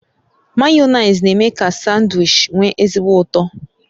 Mayonezi na eme ka sandwichi nwe ezigbo ụtọ